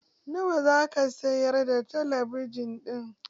Nawa za ka sayar da talabijin ɗin?